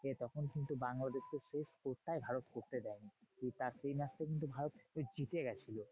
তখন কিন্তু বাংলাদেশ কে সেই score টাই ভারত করতে দেয়নি। তা সেই match টা কিন্তু ভারত জিতে গেছিল।